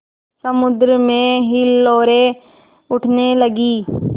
समुद्र में हिलोरें उठने लगीं